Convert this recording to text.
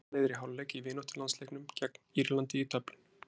Ísland leiðir í hálfleik í vináttulandsleiknum gegn Írlandi í Dublin.